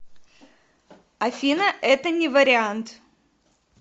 афина это не вариант